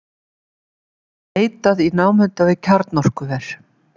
Leitað í námunda við kjarnorkuver